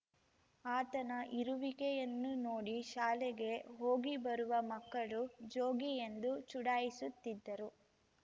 ಆತನ ಇರುವಿಕೆಯನ್ನು ನೋಡಿ ಶಾಲೆಗೆ ಹೋಗಿಬರುವ ಮಕ್ಕಳು ಜೋಗಿ ಎಂದು ಚುಡಾಯಿಸುತ್ತಿದ್ದರು